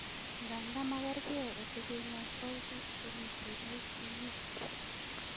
Nganda magergei olekenyoitoi bik che mitei ICU.